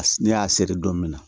Ne y'a seri don min na